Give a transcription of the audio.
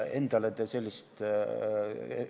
Endale te sellist laenu ei võtaks.